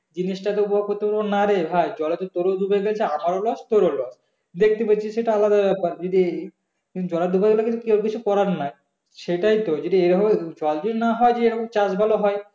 জিনিসটা না রে ভাই জলে তো তোরো ডুবে গেছে আমারও loss তোরও loss দেখতে পাচ্ছি সেটা আলাদা ব্যাপার যদি জলে ডুবে গেলে কেউ কিছু করার নেই সেটাইতো যদি এরকম ভাবে জল যদি না হয় যদি এরকম চাষ ভালো হয়